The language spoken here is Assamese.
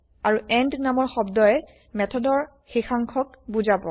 আৰু এণ্ড নামৰ শব্দই মেথডৰ শেষাংষক বুজাব